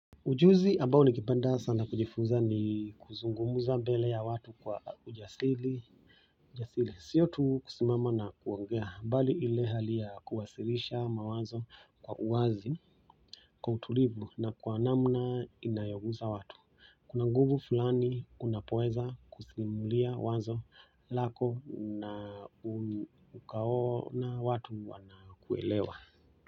Ujuzi ambao ningependa sana kujifunza ni kuzungumuza mbele ya watu kwa ujasiri ujasiri siyo tu kusimama na kuongea bali ile hali ya kuwasilisha mawazo kwa uwazi kwa utulivu na kwa namna inayoguza watu kuna nguvu fulani unapoeza kusimulia wazo lako na ukaona watu wanakuelewa.